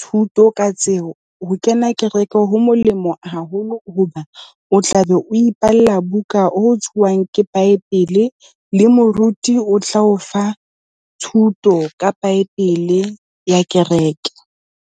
thuto ka tseo, ho kena kereke ho molemo haholo hoba o tlabe o ipalla buka a o tswang ke bible, le moruti o tla o fa thuto ka bible ya kereke.